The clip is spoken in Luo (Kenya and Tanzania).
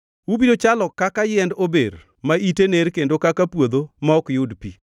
Ubiro chalo kaka yiend ober ma ite ner kendo kaka puodho ma ok yud pi.